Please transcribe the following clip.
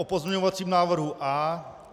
O pozměňovacím návrhu A.